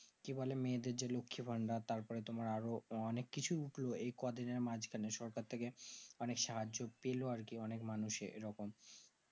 কি বোলো মেয়ে দেড় যে লক্ষী ভান্ডার তার পরে তোমার আরো অনেক কিছু উঠলো এই কদিনের মাজখানে সরকার থেকে অনেক সাহায্য পেলো আর কি অনেক মানুষে এরকম